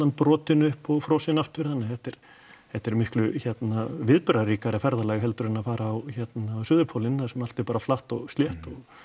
brotin upp og frosin aftur þannig að þetta er þetta er miklu viðburðaríkara ferðalag heldur en að fara á suðurpólinn þar sem allt er bara flatt og slétt